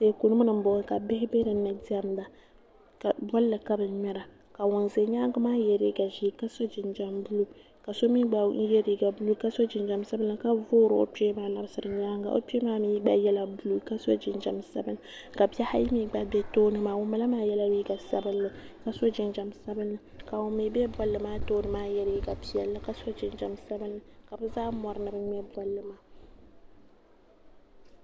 komni m boŋɔ ka bihi be dinni diɛmda bia maa yela liiga ʒee ka so jinjiɛm sabinli ka so mee gba ye liiga buluu ka so jinjiɛm sabinli ka voori o kpee maa n labisira nyaanga o kpee maa gba yela buluu ka so jinjiɛm sabinli ka bihi ayi mee gba be tooni maa ŋun bala mee gba yela liiga sabinli ka so jinjiɛm sabinli ka ŋun mee be bolli maa tooni maa n ye liiga piɛlli ka so jinjiɛm sabinli ka bɛ zaa mori ni bɛ ŋmɛ bolli maa.